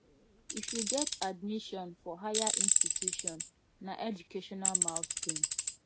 if you get admission for higher institution na educational milestone